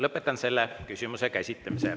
Lõpetan selle küsimuse käsitlemise.